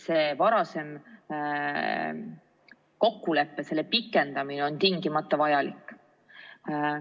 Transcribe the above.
Selle varasema kokkuleppe pikendamine on tingimata vajalik.